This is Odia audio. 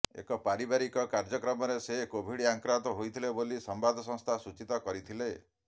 ଏକ ପାରିବାରିକ କାର୍ଯ୍ୟକ୍ରମରେ ସେ କୋଭିଡ ଆକ୍ରାନ୍ତ ହୋଇଥିଲେ ବୋଲି ସମ୍ବାଦ ସଂସ୍ଥା ସୂଚିତ କରିଥିଲେ